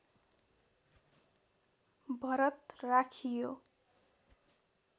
भरत राखियो